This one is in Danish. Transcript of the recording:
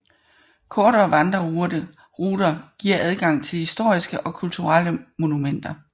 Kortere vandreruter giver adgang til historiske og kulturelle monumenter